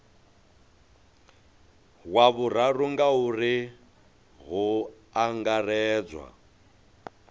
wa vhuraru ngauri hu angaredzwa